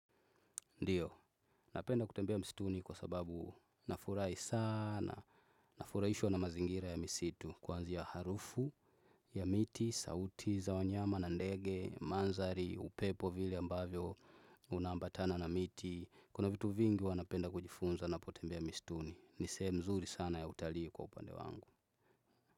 Ndiyo, napenda kutembea msituni kwa sababu nafurahi saana, nafurahishwa na mazingira ya misitu kuanzia harufu ya miti, sauti za wanyama na ndege, mandhari, upepo vile ambavyo unaambatana na miti, kuna vitu vingi napenda kujifunza napotembea misituni, nisehemu nzuri sana ya utalii kwa upande wangu.